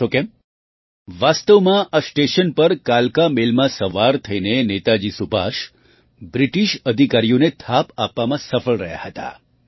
જાણો છો કેમ વાસ્તવમાં આ સ્ટેશન પર કાલકા મેલમાં સવાર થઈને નેતાજી સુભાષ બ્રિટિશ અધિકારીઓને થાપ આપવામાં સફળ રહ્યા હતા